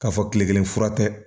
K'a fɔ kile kelen fura tɛ